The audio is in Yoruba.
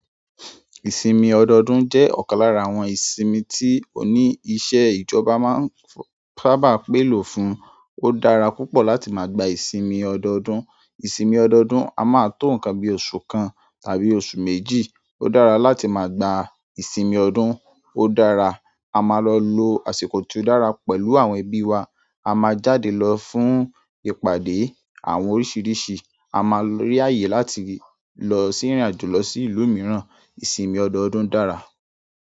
Ìsinmi odoodun je okan lára àwọn ìsinmi ti oni iṣẹ́ ìjọba ma n saaba p'elo fún ó dára púpọ̀ láti máa gba ìsinmi ọdọọdún. Ìsinmi ọdọọdún, a máa tó nǹkan bí oṣù kan tàbí oṣù méjì. Ó dára láti máa gba ìsinmi ọdún. Ó dára, a máa lọ lo àsìkò tí ó dára pẹ̀lú àwọn ẹbí wa, a máa jáde lọ fún ìpàdé àwọn oríṣiríṣi, a máa rí ààyè láti lọ sí ìrìnàjò lọ sí ìlú mìíràn. Ìsinmi ọdọọdún dára.